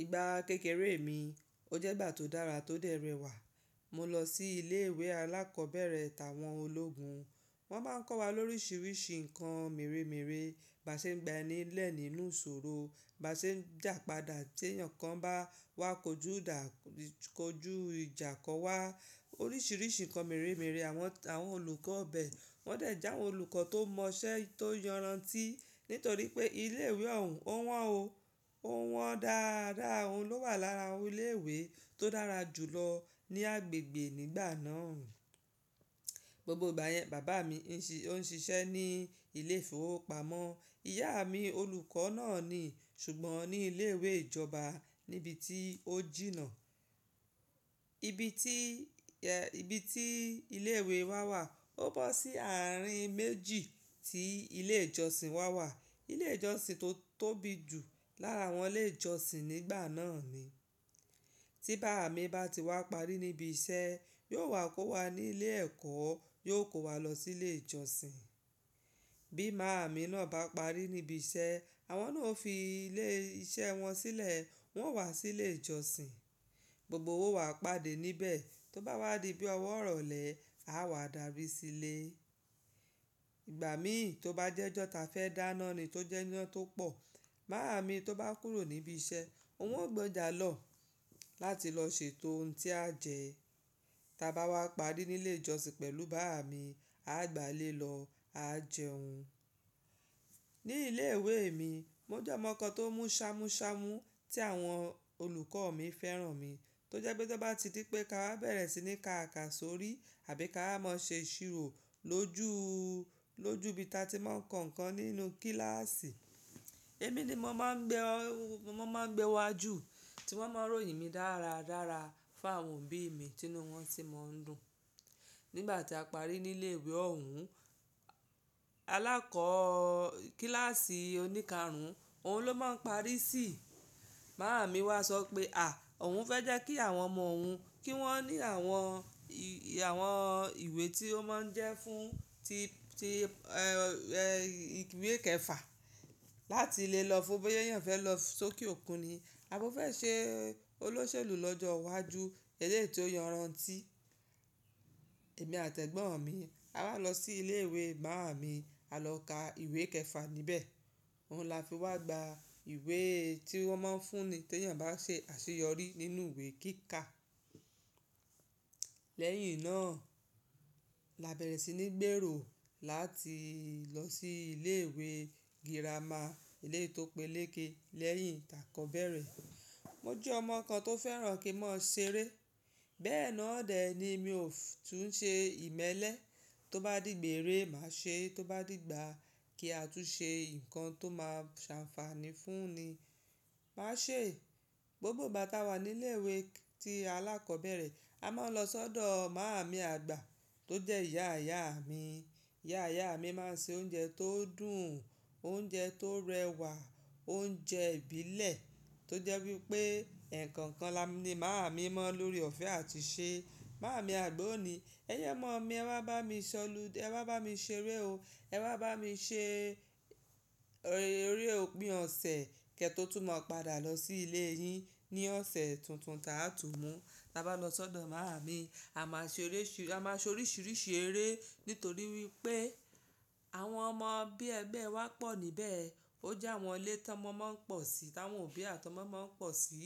Ìgbà kékeré mi, ó jẹ́ ìgbà tó dára, tó dẹrẹ̀wà. Mo lọ sí ilé ìwé alákọ̀ọ́bẹ̀rẹ̀ tàwọn ológun. Wọ́n máa ń kọ́ wa lórisìírísi nǹkan meremere, bí a ṣe ń gba ẹni lẹ́ẹ̀ nínú ìṣòro, bí a ṣe ń jàpadà tí èèyàn kan bá wá kójú ìjà kọ wá. Oríṣìíríṣìí ǹkan meremere. Àwọn olùkọ́ bẹ, wọ́n dẹ̀ jáwo olùkọ́ tó mọṣẹ́ tó yọran ti, nítorí pé ilé ìwé ọ̀ún, ó wọ́n ó wón dáradára. Òun ló wà lára àwọn ilé ìwé tó dára jù lọ ní agbègbè nígbà náà. Gbogbo ìgbà yẹn, bàbá mi ó ń ṣiṣẹ́ ní ilé ìfowópamọ́. Ìyá mi olùkọ́ náà ni, ṣùgbọ́n ní ilé ìwé ìjọba níbi tí ó jìnnà. Ibi tí, ibi tí ilé ìwé wa wà ó bọ́ sí àárín méjì tí ilé ìjọsìn wa wà. Ilé ìjọsìn tó tóbi jù lára àwọn ilé ìjọsìn nígbà náà ni. Tí bàbá mi bá ti wá parí níbi iṣẹ́, yóò wá kó wa nílé ẹ̀kọ́, yóò kó wa lọ sílé ìjọsìn. Bí màmá mi náà bá parí níbi iṣẹ́, àwọn náà ó fi ilé iṣẹ́ wọn sílẹ̀, wọn ó wá sílé ìjọsìn. Gbogbo wa owa pade níbẹ̀. Tó bá wá di bí ọwọ́ ìrọ̀lẹ̀, a wà dárí sílé. Ìgbà mí tó bá jẹ́ ọjọ́ ta fẹ́ dáná ni tó jẹ́ iná tó pọ̀. Màmá mi tó bá kúrò níbi iṣẹ́, òun ó gbọ́jà lọ láti lọ ṣètò ohun tí a jẹ. Ta bá wá parí nílé ìjọsìn pẹ̀lú bàbá mi, a gbà lé lọ, a jẹun. Ní ilé ìwé mi, mo jẹ́ ọmọ kan tó mú ṣámúṣámú tí àwọn olùkọ́ mi fẹ́ràn mi, tó jẹ́ pé tí wọ́n bá ti di pé ka wá bẹ̀rẹ̀ sí ní ká àkàsórí àbí ká máa ṣe iṣírò lójú, lójú ibi tí a ti máa ń kọ ǹkan nínú kíláàsì, èmi ni mo máa ń gbé, wọ́n máa ń gbé wájú, tí wọ́n máa ń ròyìn mi dáradára fún àwọn òbí mi, tinú wọn sì máa ń dùn. Nígbà tí a parí nílé ìwé ọ̀ún, alákọ̀ọ́ kíláàsì oníkarùn, òun ló máa ń parí síì. Màmá mi wá sọ pé à, òun fẹ́ jẹ́ kí àwọn ọmọ òun, kí wọ́n ní àwọn, àwọn ìwé tí ó máa ń jẹ́ fún, tí, tí ìwé kẹfà láti lè lọ fún boya ẹniyan fẹ́ lọ sókè òkun ni. A bọ́ fẹ́ ṣe olóṣèlú lọ́jọ́ iwájú ẹ́lẹ́yi tí ó yọran ti. Èmi àti ẹ̀gbọ́n mi, a wá lọ sí ilé ìwé màmá mi, a lọ ka ìwé kẹfà níbẹ̀. Òun la fi wá gba ìwé tí wọ́n máa ń fún ni tí ẹniyan bá ṣe àṣeyọrí nínú ìwé kíkà. Lẹ́yìn náà la bẹ̀rẹ̀ sí ní gbèrò láti lọ sí ilé ìwé girama, èleti tó pé léke, lẹ́yìn takọ bẹ̀rẹ̀. Mo jẹ́ ọmọ kan tó fẹ́ràn kí n máa ṣeré. Bẹ́ẹ̀ náà dèẹ́ ni mi ò tún ṣe ìmẹ́lẹ́. Tó bá di gbèrè, màá ṣe é. Tó bá di ìgbà kí a tú ṣe ǹkan tó máa ṣànfààní fún ni, màá ṣe é. Gbogbo ìgbà táa wà nílé ìwé tí alákọ̀ọ́bẹ̀rẹ̀, a máa ń lọ sọ́dọ̀ màami àgbà tó jẹ́ ìyá ìyá mi. Ìyá ìyá mi máa ń ṣe oúnjẹ tó dùn, oúnjẹ tó rẹwà, oúnjẹ ìbílẹ̀ tó jẹ́ wípé eko kan ni màmá mi mọ̀ n lóre ọ̀fẹ́ àti ṣe. Màmá mi àgbà òní, "Ẹyin ọmọ mi, ẹ wá bá mi ṣolúdẹ e wá bá mi ṣeré o. Ẹ wá bá mi ṣe eré òpin ọ̀sẹ̀ kẹ́ tó tún máa padà lọ sí ilé yín ní ọ̀sẹ̀ tuntun ta á tún mú." Ta bá lọ sọ́dọ̀ màmá mi, a máa ṣe oríṣiríṣi eré, nítorí wípé àwọn ọmọ bí ẹgbẹ́ wa pọ̀ níbẹ̀. Ó jẹ́ àwọn ilé táwọn ọmọ máa ń pọ̀ sí, táwọn òbí àti ọmọ máa ń pọ̀ sí.